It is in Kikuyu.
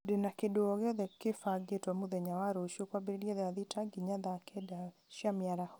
ndĩna kĩndũ o gĩothe kĩbangĩtwo mũthenya wa rũciũ kwambĩrĩria thaa thita nginya thaa kenda cia mĩaraho